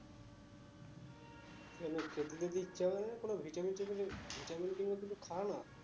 কেন খেতে তেতে ইচ্ছে করে না কোনো vitamin টিটামিন vitamin খা না